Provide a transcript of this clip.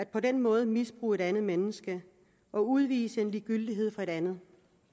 på den måde at misbruge et andet menneske og udvise en ligegyldighed over for en anden